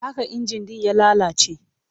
Haka injin ɗin ya lalace?